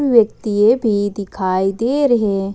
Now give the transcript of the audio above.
व्यक्तिये भी दिखाई दे रहे हैं।